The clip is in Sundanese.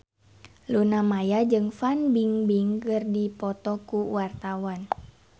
Luna Maya jeung Fan Bingbing keur dipoto ku wartawan